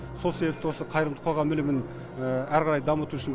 сол себепті осы қайырымды қоғам ілімін әрі қарай дамыту үшін